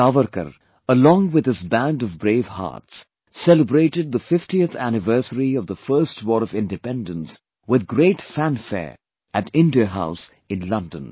Savarkaralong with his band of brave hearts celebrated the 50thanniversary of the First War of Independence with great fanfare at India house in London